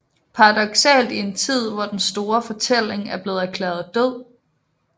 Paradoksalt i en tid hvor den store fortælling er blevet erklæret død